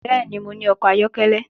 Bẹ́ẹ̀ni, mo ní ọkọ̀ ayọ́kẹ́lẹ́